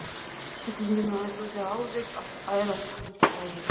Sjúklingurinn ætlaði alveg að ærast úr kvölum.